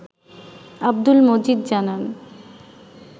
আব্দুল মজিদ জানান